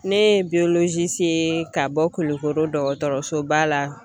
Ne ye ka bɔ Kulikoro dɔgɔtɔrɔsoba la.